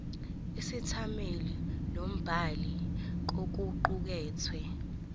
isethameli nombhali kokuqukethwe